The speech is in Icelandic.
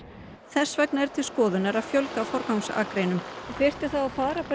þess vegna er til skoðunar að fjölga forgangsakreinum þyrfti þá að fara